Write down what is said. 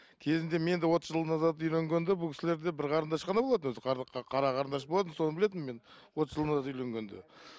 кезінде мен де отыз жыл назад үйленгенде бұл кісілерде бір қарандаш қана болатын өзі қара қарандаш болатын соны білетінмін мен отыз жыл назад үйленгенде